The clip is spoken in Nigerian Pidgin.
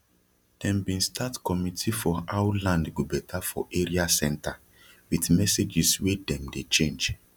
dem bin start committee for how land go beta for area centre with messages wey dem dey change